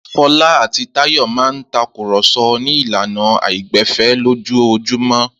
Fọlá àti Táyọ̀ máa ń takùrọ̀so ní ìlànà àìgbẹ̀fẹ̀ lójoojúmọ́.